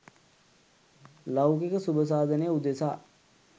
ලෞකික සුබ සාධනය උදෙසා